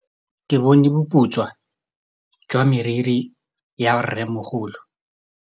Ke bone boputswa jwa meriri ya rrêmogolo.